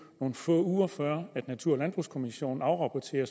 nogle få uger før natur og landbrugskommissionen afrapporterer